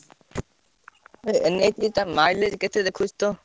ଟା mileage କେତେ ଦେଖଉଛି?